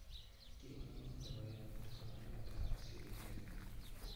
Kiwo neo nebo emet koneret ab sirindet neo